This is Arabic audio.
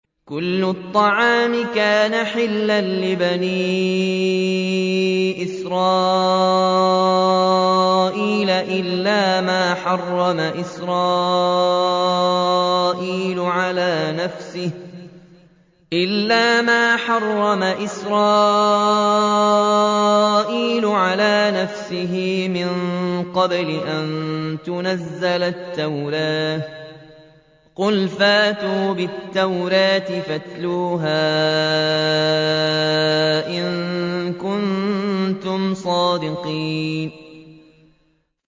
۞ كُلُّ الطَّعَامِ كَانَ حِلًّا لِّبَنِي إِسْرَائِيلَ إِلَّا مَا حَرَّمَ إِسْرَائِيلُ عَلَىٰ نَفْسِهِ مِن قَبْلِ أَن تُنَزَّلَ التَّوْرَاةُ ۗ قُلْ فَأْتُوا بِالتَّوْرَاةِ فَاتْلُوهَا إِن كُنتُمْ صَادِقِينَ